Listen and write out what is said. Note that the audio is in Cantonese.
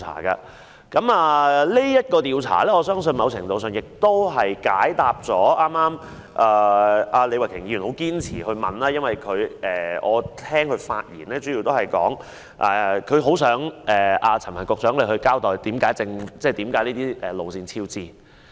我相信這項調查某程度上解答了李慧琼議員剛才堅持的問題，我聽到她在發言中表示希望陳帆局長交代這些鐵路工程為何超支。